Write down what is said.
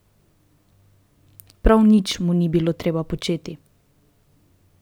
Prav nič mu ni bilo treba početi.